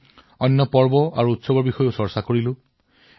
আমি অন্যান্য উৎসৱ আৰু পৰ্বসমূহৰ বিষয়েও আলোচনা কৰিলো